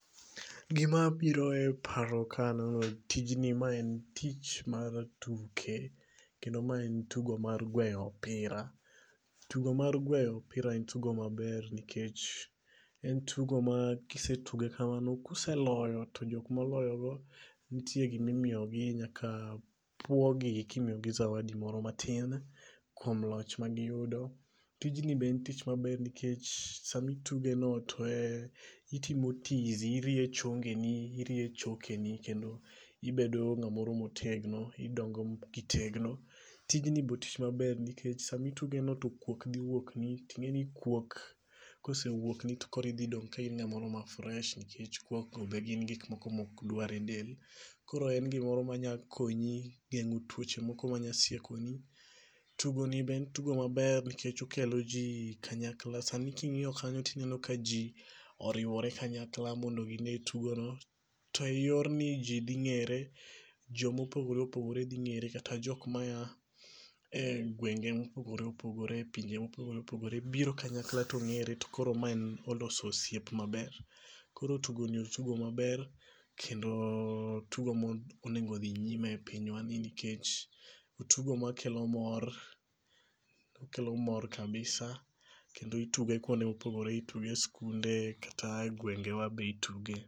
Gima biro e paro ka aneno tijni, ma en tich mar tuke. Kendo ma en tugo mar gweyo opira. Tugo mar gweyo opira en tugo maber nikech en tugo ma kisetuge kamano kuseloyo to jok moloyo go nitie gimimiyogi. Nyaka puo gi gimiyogi zawadi moro matin kuom loch magiyudo. Tijni be en tich maber nikech samituge no to en itimo tizi, irie chongeni, irie chokeni, kendo ibedo ng'amoro motegno. Idongo kitegno. Tijni be tich maber nikech samitugeno to kuok dhi wuokni. Ting'eni kuok kosewuok ni to koro idhi dong' ka in ng'amoro ma fresh nikech kuok go be gin gik moko mokdwar e del. Koro en gimoro manyakonyi e geng'o tuoche moko manya sieko ni. Tugo ni be en tugo maber nikech okelo ji kanyakla. Sani king'iyo kanyo tineno ka ji oriwore kanyakla mondo gine tugono. To e yor ni ji dhi ng'ere jomopogore opogore dhi ng'ere kata jok ma ya engwenge mopogore opogore pinje mopogore opogore biro kanyakla to ng'ere to koro ma oloso osiep maber. Koro tugo ni otugo maber. Kendo tugo monengo odhi nyime e pinywa ni nikech otugo makelo mor kabisa. Kendo ituge kuonde mopogore. Ituge e skunde kata e gwenge wa be ituge.